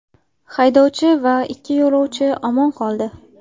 Haydovchi va ikki yo‘lovchi omon qoldi.